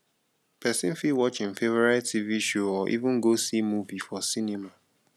person fit watch im favourite tv show or even go see movie for cinema